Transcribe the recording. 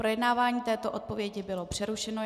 Projednávání této odpovědi bylo přerušeno.